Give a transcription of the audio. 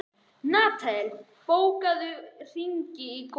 Natanael, bókaðu hring í golf á mánudaginn.